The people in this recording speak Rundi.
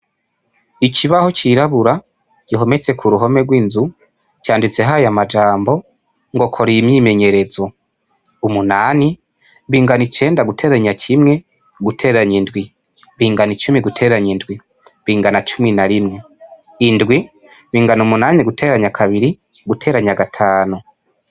Ikibaho cirabura gihometse k'uruhome rw'inzu canditseho aya majambo ngo kora iyi myimenyerezo umunani bingana icenda guteranya kimwe guteranya indwi bingana icumi guteranya indwi bingana cumi na rimwe indwi bingana umunani guteranya kabiri guteranya gatanu.